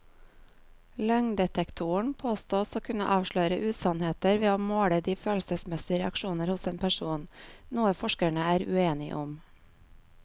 Løgndetektoren påstås å kunne avsløre usannheter ved å måle de følelsesmessige reaksjoner hos en person, noe forskerne er uenige om.